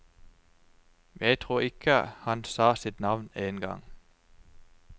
Jeg tror ikke han sa sitt navn en gang.